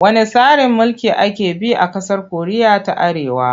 Wanne tsarin mulki ake bi a ƙasar Koriya ta Arewa?